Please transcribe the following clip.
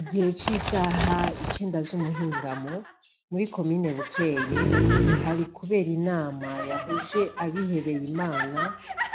Igihe c'isaha icenda z'umuhingamo muri komine bukeye hari kubera inama yahuje abihebeye Imana